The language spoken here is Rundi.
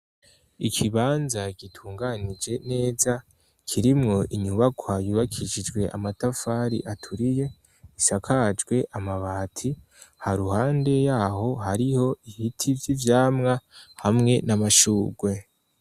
Ikibanza gitunganije neja kirimwo inyubaka yubakishijwe amatafari aturiye isakajwe amabati ha ruhande yaho hariho ibiti vy'ivyamwa hamwe n'amashugwe.